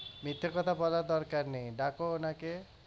মিথ্যে কথা বলার দরকার নেই ডাকো ওনাকে